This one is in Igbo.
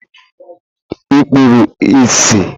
Ị kpuru ìsì?